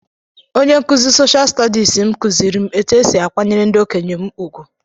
Onye nkụzi Soshal Stọdịs m kụziiri m etú e si akwanyere ndị okenye m ùgwù.